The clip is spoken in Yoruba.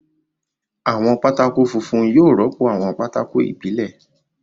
Àwọn pátákó funfun yóò rọ́pò àwọn pákó ìbílẹ̀.